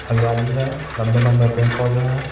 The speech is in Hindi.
हरियाली है लंबे-लंबे पेड़-पौधे हैं.